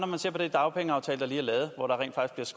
man ser på den dagpengeaftale der lige er lavet hvor der rent faktisk